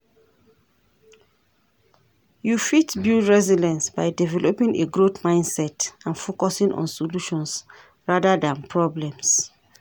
You fit build resilience by developing a growth mindset and focusing on solutions rather than problems.